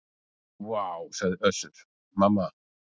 Vá, sagði Össur-Mamma.